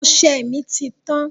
Ọsẹ mi ti tán